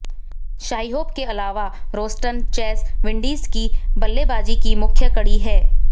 शाई होप के अलावा रोस्टन चेस विंडीज की बल्लेबाजी की मुख्य कड़ी हैं